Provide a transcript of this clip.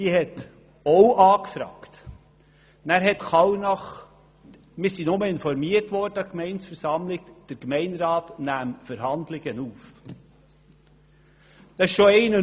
Diese hat auch angefragt, und wir wurden an der Gemeindeversammlung informiert, dass der Gemeinderat Verhandlungen aufnehme.